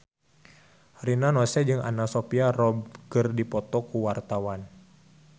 Rina Nose jeung Anna Sophia Robb keur dipoto ku wartawan